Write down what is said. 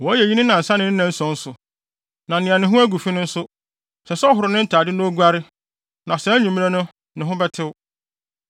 Wɔyɛ eyi ne nnansa ne ne nnanson so. Na nea ne ho agu fi no nso, ɛsɛ sɛ ɔhoro ne ntade na oguare, na saa anwummere no ne ho bɛtew.